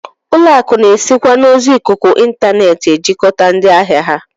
Ụlọakụ na-esikwa n'ozi ikuku intaneet ejikọta ndị ahịa ha